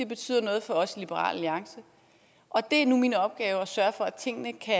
betyder noget for os i liberal alliance og det er nu min opgave at sørge for at tingene kan